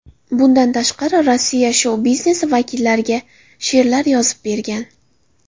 Bundan tashqari Rossiya shou-biznesi vakillariga she’rlar yozib bergan.